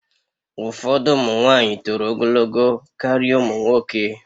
Ụfọdụ ụmụ nwanyị toro ogologo karịa ụmụ nwoke